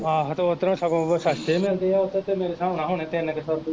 ਆਹੋ ਤੇ ਉੱਧਰੋਂ ਸਗੋਂ ਉਹ ਸਸਤੇ ਮਿਲਦੇ ਆ ਉੱਧਰ ਤੇ ਮੇਰੇ ਹਿਸਾਬ ਨਾਲ ਹੋਣੇ ਤਿੰਨ ਕੁ ਸੌ ਰੁਪਏ